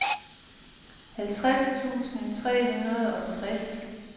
halvtreds tusind tre hundrede og tres